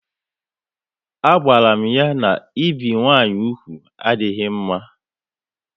A gwaram ha na ebi nwa nwanyị úgwù adịghị mma